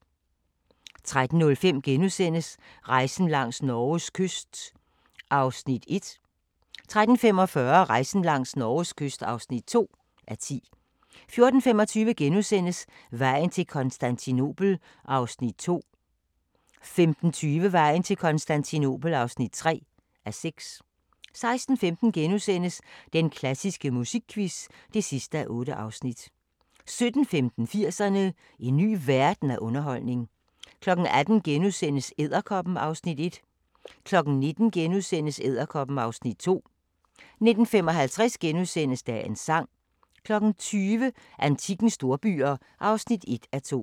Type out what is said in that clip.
13:05: Rejsen langs Norges kyst (1:10)* 13:45: Rejsen langs Norges kyst (2:10) 14:25: Vejen til Konstantinopel (2:6)* 15:20: Vejen til Konstantinopel (3:6) 16:15: Den klassiske musikquiz (8:8)* 17:15: 80'erne: En ny verden af underholdning 18:00: Edderkoppen (Afs. 1)* 19:00: Edderkoppen (Afs. 2)* 19:55: Dagens sang * 20:00: Antikkens storbyer (1:2)